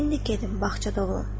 İndi gedin bağçada olun.